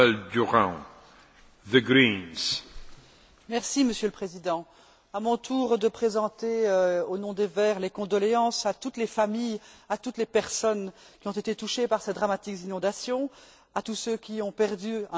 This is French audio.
Monsieur le Président, à mon tour de présenter, au nom des Verts, les condoléances à toutes les familles, à toutes les personnes qui ont été touchées par ces dramatiques inondations, à tous ceux qui ont perdu un être cher, à tous ceux qui ont perdu une partie de leurs biens.